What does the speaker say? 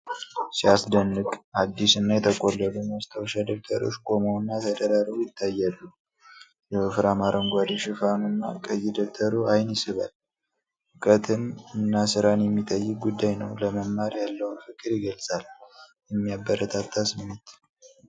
ሲያስደንቅ! አዲስ እና የተቆለሉ ማስታወሻ ደብተሮች ቆመው እና ተደራርበው ይታያሉ። የወፍራም አረንጓዴ ሽፋኑ እና ቀይ ደብተሩ አይን ይስባል። እውቀትን እና ስራን የሚጠይቅ ጉዳይ ነው። ለመማር ያለውን ፍቅር ይገልጻል። የሚያበረታታ ስሜት!